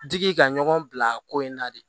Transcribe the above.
Digi ka ɲɔgɔn bila ko in na de